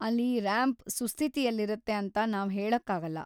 ಅಲ್ಲಿ ರ‍್ಯಾಂಪ್ ಸುಸ್ಥಿತಿಲಿರುತ್ತೆ ಅಂತ ನಾವ್ ಹೇಳಕ್ಕಾಗಲ್ಲ.